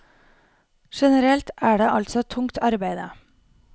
Generelt er det altså tungt arbeide.